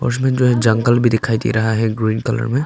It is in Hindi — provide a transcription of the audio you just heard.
उसमें जो एक जंगल भी दिखाई दे रहा है ग्रीन कलर में।